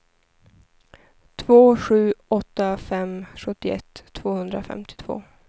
två sju åtta fem sjuttioett tvåhundrafemtiotvå